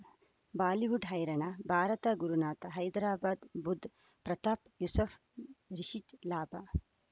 Bollywood ಹೈರಾಣ ಭಾರತ ಗುರುನಾಥ ಹೈದರಾಬಾದ್ ಬುಧ್ ಪ್ರತಾಪ್ ಯೂಸುಫ್ ರಿಷಿಟ್ ಲಾಭ